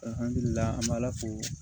an me ala fo